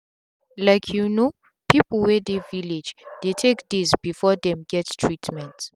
like you no people wey dey village dey take days before them get treatment